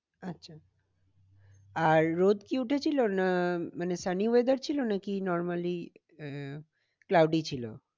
আচ্ছা রোদ কি উঠেছিল? না মানে sunny weather ছিল নাকি normally আহ cloudy ছিল?